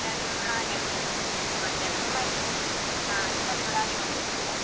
ಚೆನ್ನಾಗಿರ್ತದೆ ಉಣ್ಣಕ್ಕೆ. ಹಾ ನಿಮ್ಮಲ್ಲಿ ಕೂಡ ಹಾಗೆ ಮಾಡ್ತೀರಾ?